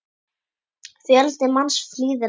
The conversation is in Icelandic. Fjöldi manns flýði land.